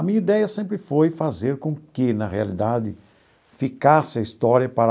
A minha ideia sempre foi fazer com que, na realidade, ficasse a história para